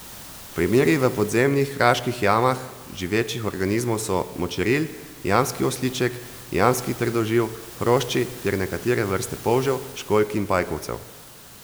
Primeri v podzemnih kraških jamah živečih organizmov so močeril, jamski osliček, jamski trdoživ, hrošči ter nekatere vrste polžev, školjk in pajkovcev.